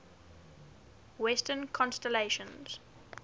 western constellations